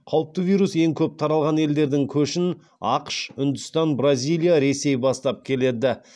қауіпті вирус ең көп таралған елдердің көшін ақш үндістан бразилия ресей бастап келеді